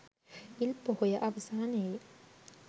ඉල් පොහොය අවසානයේ